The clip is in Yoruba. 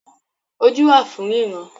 Ojú wà fún ríran